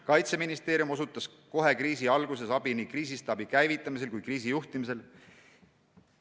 Kaitseministeerium osutas kohe kriisi alguses abi nii kriisistaabi käivitamisel kui kriisi juhtimisel.